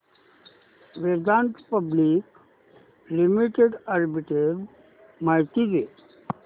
Vedanta public limited arbitrage माहिती दे